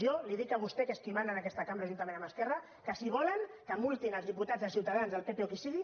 jo li dic a vostè que és qui mana en aquesta cambra juntament amb esquerra que si volen que multin els diputats de ciutadans del pp o qui sigui